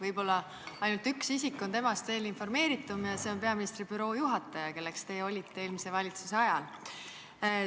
Võib-olla ainult üks isik on temast veel informeeritum ja see on peaministri büroo juhataja, kelleks olite eelmise valitsuse ajal teie.